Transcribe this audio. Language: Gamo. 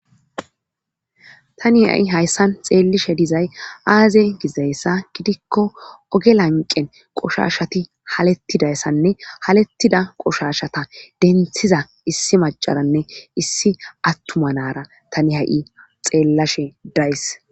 Tani ha'i hayssan xeellishe dizay aaze gizayssa gidikko oge lanqen qoshashati halettidayssanne halettida qoshashata denthiza issi macaranne issi attumanara tani ha'i xeellashe days.